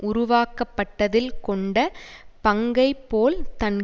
உருவாக்கப்பட்டதில் கொண்ட பங்கை போல் தன்